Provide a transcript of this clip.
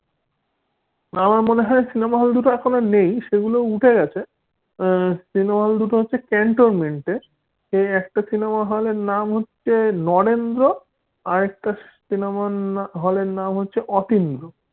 আমার মনে হয় cinema hall দুটো আর নেই সেগুলো উঠে গেছে cinema hall দুটো হচ্ছে ক্যান্টনমেন্টের একটা cinema hall হলের নাম হচ্ছে নরেন্দ্র আর একটা cinema hall র নাম হচ্ছে অতীন্দ্র।